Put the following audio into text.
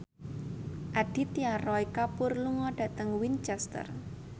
Aditya Roy Kapoor lunga dhateng Winchester